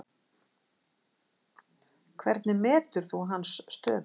Hvernig metur þú hans stöðu?